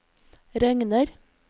regner